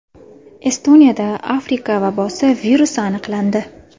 Estoniyada Afrika vabosi virusi aniqlandi .